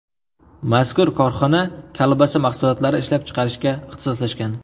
Mazkur korxona kolbasa mahsulotlari ishlab chiqarishga ixtisoslashgan.